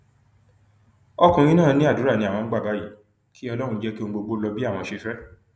ọkùnrin náà ní àdúrà ni àwọn ń gbà báyìí kí ọlọrun jẹ kí ohun gbogbo lọ bí àwọn ṣe fẹ